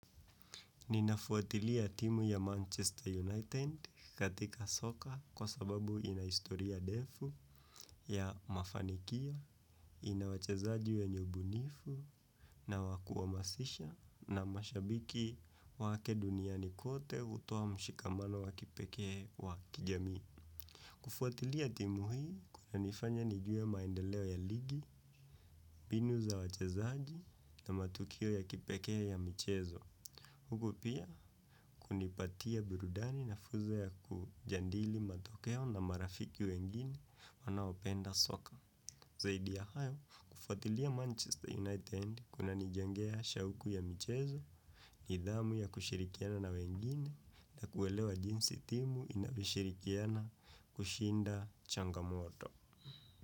Ninafuatilia timu ya Manchester United katika soka kwa sababu ina historia ndefu. Ya mafanikio, ina wachezaji wenye ubunifu, na wakuhamasisha na mashabiki wake duniani kote hutoa mshikamano wa kipekee wa kijamii. Kufuatilia timu hii kunanifanya nijue maendeleo ya ligi, mbinu za wachezaji na matukio ya kipekee ya michezo. Huku pia kunipatia burudani na fuzo ya kujadili matokeo na marafiki wengine wanaopenda soka. Zaidi ya hayo, kufuatilia Manchester United kunanijengea shauku ya mchezo, nidhamu ya kushirikiana na wengine na kuelewa jinsi timu inavyoshirikiana kushinda changamoto.